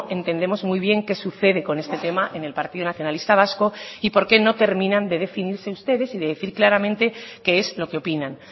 entendemos muy bien qué sucede con este tema en el partido nacionalista vasco y porqué no terminan de definirse ustedes y de decir claramente qué es lo que opinan